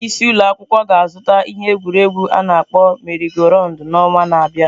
Onye isi ụlọ akwụkwọ ga-azụta ihe egwuregwu a na akpọ meri-go-roundu n'ọnwa na-abịa.